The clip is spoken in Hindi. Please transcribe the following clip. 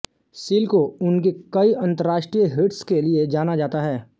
सील को उनके कई अंतर्राष्ट्रीय हिट्स के लिए जाना जाता है